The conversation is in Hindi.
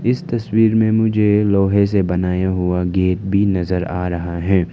इस तस्वीर में मुझे लोहे से बनाया हुआ गेट भी नजर आ रहा है।